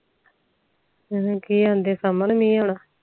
ਕਿ ਅੰਡੇ ਸ਼ਾਮ ਨੂੰ ਮਹਿ ਆਉਣਾ